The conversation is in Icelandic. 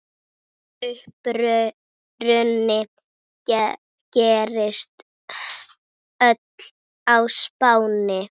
Uppruni gerist öll á Spáni.